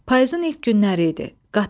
Payızın ilk günləri idi.